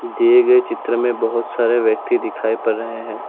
दिए गए चित्र में बहुत सारे व्यक्ति दिखाई पड़ रहे हैं।